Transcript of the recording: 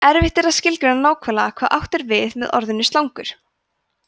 erfitt er að skilgreina nákvæmlega hvað átt er við með orðinu slangur